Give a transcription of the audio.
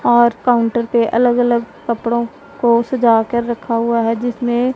और काउंटर पे अलग अलग कपड़ो को सजा कर रखा हुआ है जिसने--